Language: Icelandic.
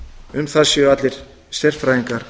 um það séu allir sérfræðingar